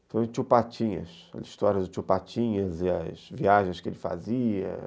Então, o Tio Patinhas, as histórias do Tio Patinhas e as viagens que ele fazia.